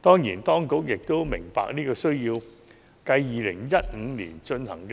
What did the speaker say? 當然，當局也明白有這個需要，繼2015年進行